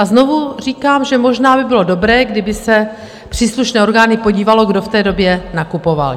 A znovu říkám, že možná by bylo dobré, kdyby se příslušné orgány podívaly, kdo v té době nakupoval.